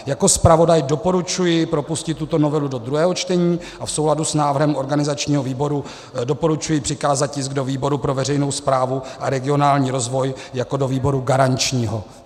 Jako zpravodaj doporučuji propustit tuto novelu do druhého čtení a v souladu s návrhem organizačního výboru doporučuji přikázat tisk do výboru pro veřejnou správu a regionální rozvoj jako do výboru garančního.